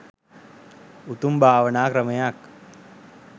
උතුම් භාවනා ක්‍රමයක්.